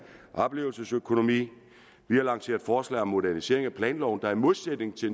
og oplevelsesøkonomi vi har lanceret forslag om modernisering af planloven der i modsætning til